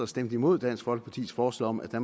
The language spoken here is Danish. stemte imod dansk folkepartis forslag om at